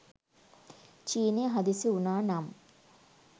චීනය හදිසි වුණා නම්